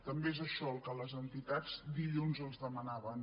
també és això el que les entitats dilluns els demanaven